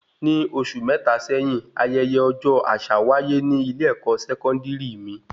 Ní oṣù mẹta sẹ́yín, ayẹyẹ ọjọ àṣà wáyé ní ilé ẹkọ sẹkọndiri mí